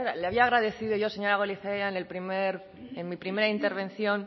le había agradecido yo señora goirizelaia en mi primera intervención